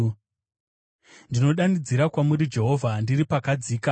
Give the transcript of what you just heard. Ndinodanidzira kwamuri Jehovha, ndiri pakadzika;